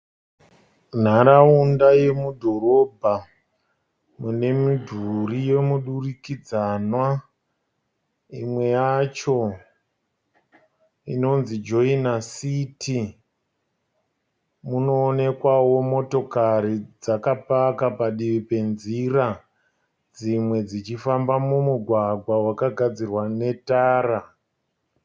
Nharaunda yemudhorobha mune midhuri yemuturikidzanwa imwe yacho inonzi Joina City. Munoonekwawo motokari dzakapaka padivi penzira dzimwe dzichifamba mumugwagwa wakagadzirwa netara.